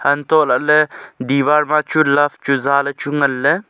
hantola ley divaar ma chu love chu zale chu ngan ley.